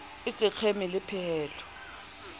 e se kgeme le pehelo